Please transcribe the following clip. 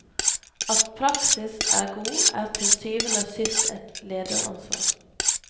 At praksis er god, er til syvende og sist et lederansvar.